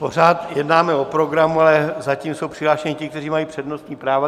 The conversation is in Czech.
Pořád jednáme o programu, ale zatím jsou přihlášeni ti, kteří mají přednostní práva.